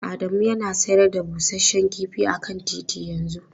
Adamu yana sayar da busasshen kifi a kan titi yanzu.